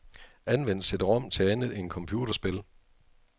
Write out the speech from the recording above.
Anvend cd-rom til andet end computerspil.